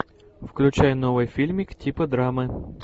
включай новый фильмик типа драмы